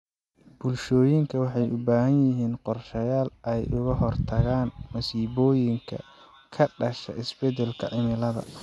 Bulshooyinka waxay u baahan yihiin qorshayaal ay uga hortagaan masiibooyinka ka dhasha isbeddelka cimilada.